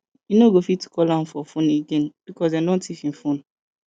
you no go fit call am for fone again because dem don tiff im fone